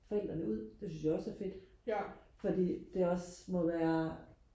forældrene ud det synes jeg også er fedt fordi det også må være